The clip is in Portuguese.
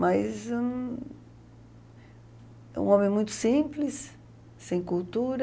Mas... Um um homem muito simples, sem cultura...